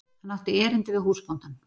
Hann átti erindi við húsbóndann.